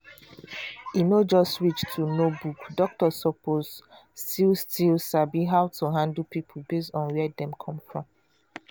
e no just reach to know book doctor suppose still still sabi how to handle people based on where dem come from.